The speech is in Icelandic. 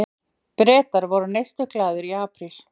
Bretar voru neysluglaðir í apríl